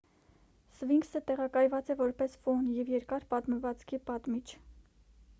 սվինքսը տեղակայված է որպես ֆոն և երկար պատմվածքի պատմիչ